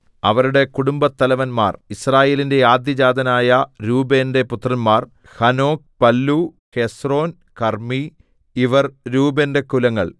അവരുടെ കുടുംബത്തലവന്മാർ യിസ്രായേലിന്റെ ആദ്യജാതനായ രൂബേന്റെ പുത്രന്മാർ ഹനോക് പല്ലൂ ഹെസ്രോൻ കർമ്മി ഇവർ രൂബേന്റെ കുലങ്ങൾ